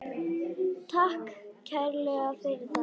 Takk kærlega fyrir það.